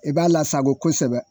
I b'a lasafo kosɛbɛ.